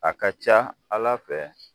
A ka ca Ala fɛ